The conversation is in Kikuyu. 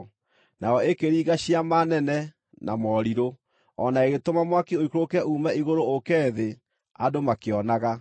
Nayo ĩkĩringa ciama nene na morirũ, o na ĩgĩtũma mwaki ũikũrũke uume igũrũ ũũke thĩ andũ makĩonaga.